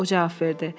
o cavab verdi.